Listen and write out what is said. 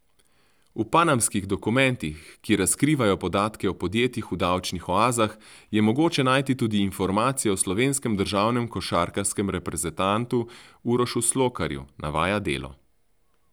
V panamskih dokumentih, ki razkrivajo podatke o podjetjih v davčnih oazah, je mogoče najti tudi informacije o slovenskem državnem košarkarskem reprezentantu Urošu Slokarju, navaja Delo.